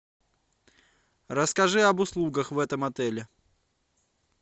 расскажи об услугах в этом отеле